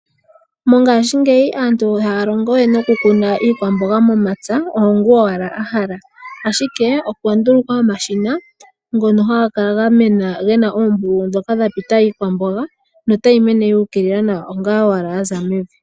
Mongashingeyi aantu ihaya longowe okukuna iikwamboga momapya, owo gu owala wa hala. Ashike okwa ndulukwa omashina ngono haga kala gamena gena oombululu dhoka dha pita iikwamboga notayi mene yuukilila nawa onga owala ya za mevi.